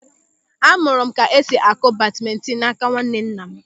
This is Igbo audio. A mụrụ m ka esi akụ badmintin n'áká nwannenna m.